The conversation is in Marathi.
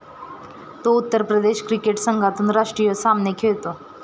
तो उत्तर प्रदेश क्रिकेट संघातून राष्ट्रीय सामने खेळतो.